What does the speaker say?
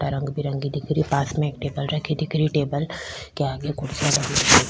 रंग बिरंगे दिख रही पास में एक टेबल रखे दिख रहियो टेबल के आगे कुर्सियां लगी दिख --